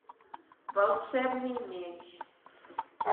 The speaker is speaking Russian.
волшебный меч